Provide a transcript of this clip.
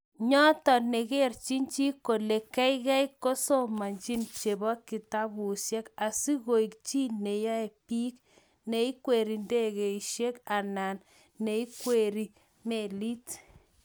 nyoto, negerei chii kole geigei kosomanchi chebo kitabushek asigoek chii neiyoii biik, neikwerie ndegeit anan neikwerie melit